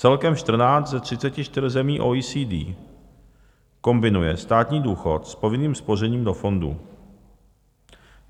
Celkem 14 ze 34 zemí OECD kombinuje státní důchod s povinným spořením do fondů.